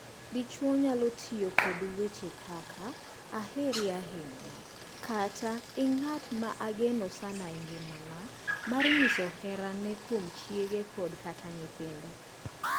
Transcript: Dichwo nyalo tiyo kod weche kaka “aheri ahinya”, kata “in ng’at ma ageno sana e ngimana” mar nyiso herane kuom chiege kod kata nyithinde.